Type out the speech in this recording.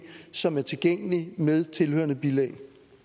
som er tilgængeligt med tilhørende bilag